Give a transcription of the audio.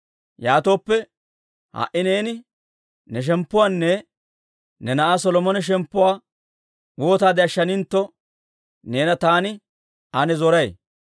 Yaatooppe, ha"i neeni ne shemppuwaanne ne na'aa Solomone shemppuwaa waataade ashshanintto neena taani ane zoray.